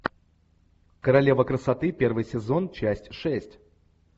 королева красоты первый сезон часть шесть